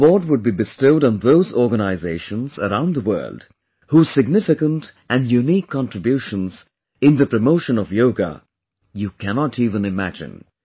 This award would be bestowed on those organizations around the world, whose significant and unique contributions in the promotion of yoga you cannot even imagine